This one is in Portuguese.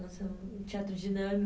Nossa, um teatro